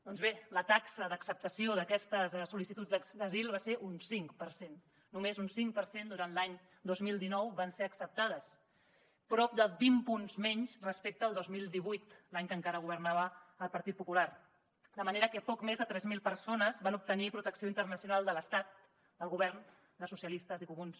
doncs bé la taxa d’acceptació d’aquestes sol·licituds d’asil va ser un cinc per cent només un cinc per cent durant l’any dos mil dinou van ser acceptades prop de vint punts menys respecte al dos mil divuit l’any que encara governava el partit popular de manera que poc més de tres mil persones van obtenir protecció internacional de l’estat del govern de socialistes i comuns